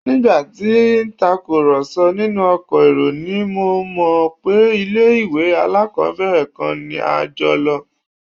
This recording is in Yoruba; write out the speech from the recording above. Nígbà tí à ń tàkùrọ̀sọ nínú ọkọ̀ èrò ni mo mọ̀ pé ilé-ìwé alákọ́bẹ̀rẹ̀ kan náà ni a jọ lọ